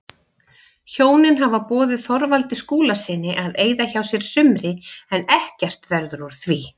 Hjónin hafa boðið Þorvaldi Skúlasyni að eyða hjá sér sumri en ekkert verður úr því.